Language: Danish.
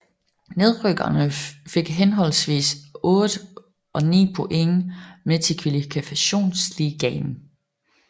Nedrykkerne fik henholdsvis 8 og 9 point med til Kvalifikationsligaen